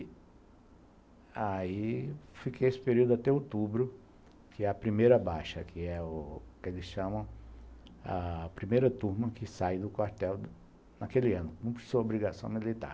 Daí, fiquei esse período até outubro, que é a primeira baixa, que é o que eles chamam, ah... a primeira turma que sai do quartel naquele ano, cumpre sua obrigação militar.